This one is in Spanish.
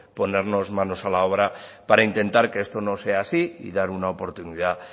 ponernos manos a la obra para intentar que esto no sea así y dar una oportunidad